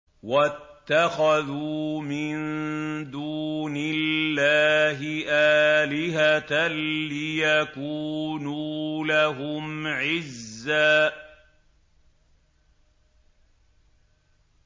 وَاتَّخَذُوا مِن دُونِ اللَّهِ آلِهَةً لِّيَكُونُوا لَهُمْ عِزًّا